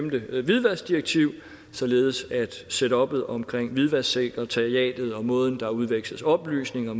hvidvaskdirektiv således at setuppet omkring hvidvasksekretariatet og måden der udveksles oplysninger